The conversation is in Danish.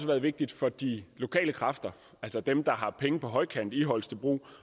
været vigtigt for de lokale kræfter altså dem der har penge på højkant i holstebro